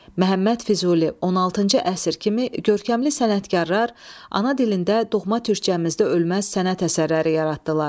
Məhəmməd Füzuli, 16-cı əsr kimi görkəmli sənətkarlar ana dilində, doğma türkcəmizdə ölməz sənət əsərləri yaratdılar.